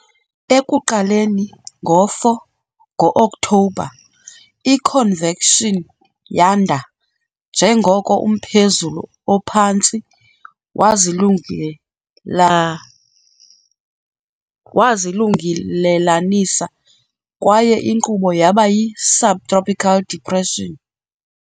Ekuqaleni ngo-4 Ngo-Okthobha, i-convection yanda njengoko umphezulu ophantsi wazilungelelanisa, kwaye inkqubo yaba yi-subtropical depression.